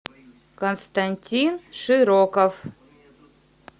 константин широков